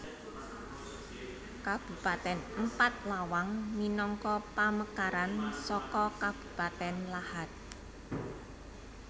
Kabupatèn Empat Lawang minangka pamekaran saka Kabupatèn Lahat